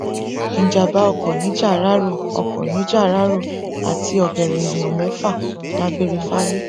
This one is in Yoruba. ìjàḿbá ọkọ nìjáráró ọkọ nìjáráró àti ọgẹrẹ èèyàn mẹfà dágbére fáyé